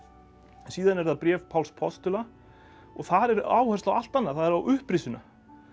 síðan er það bréf Páls postula og þar er áhersla á allt annað það er á upprisuna